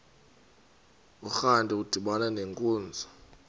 urantu udibana nenkunzi